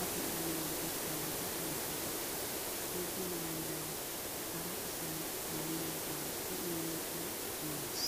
a be'iyoode galata galata gees. Suufe maayuwaa hara asay maayidaagaa be'iyoode tana amoyees.